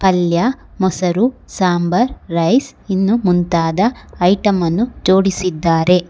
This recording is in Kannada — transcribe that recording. ಪಲ್ಯ ಮೊಸರು ಸಾಂಬಾರ್ ರೈಸ್ ಇನ್ನೂ ಮುಂತಾದ ಐಟಂ ಅನ್ನು ಜೋಡಿಸಿದ್ದಾರೆ.